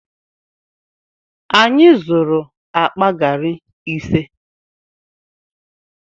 Anyị zụrụ akpa gari ise.